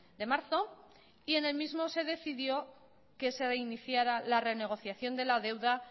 de marzo y en el mismo se decidió que se reiniciara la renegociación de la deuda